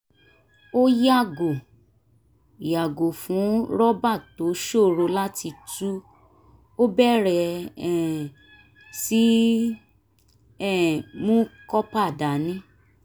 ó yàgò yàgò fún rọ́bà tó ṣòro láti tú ó bẹ̀rẹ̀ um sí í um mú kópa dání